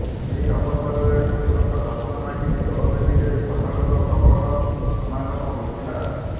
ଏହି ଅବସରରେ ଠାକୁରଙ୍କ ଦର୍ଶନ ଲାଗି ଦୋଳବେଦୀରେ ଶ୍ରଦ୍ଧାଳୁଙ୍କ ପ୍ରବଳ ସମାଗମ ହୋଇଥିଲା